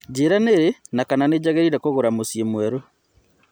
njĩira nĩ rĩ na kana nĩnjagĩrire kũgũra mũcĩĩ mwerũ